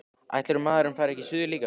Ætli maður fari ekki suður líka.